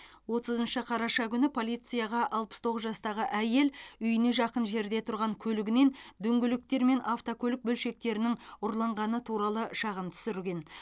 отызыншы қараша күні полицияға алпыс тоғыз жастағы әйел үйіне жақын жерде тұрған көлігінен дөңгелектер мен автокөлік бөлшектерінің ұрланғаны туралы шағым түсірген